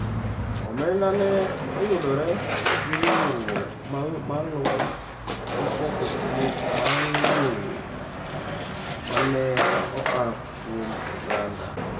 Omenda no Oyudore gi riwruok ma lweny gi ketho chik bang’ ng’eyo ma ne oa kuom oganda.